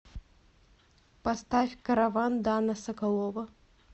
поставь караван дана соколова